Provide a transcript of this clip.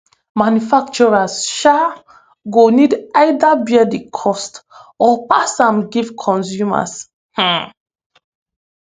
manufacturers um go need either bear di cost or pass am give consumers um